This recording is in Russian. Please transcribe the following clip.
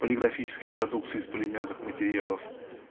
полиграфической продукции из полимерных материалов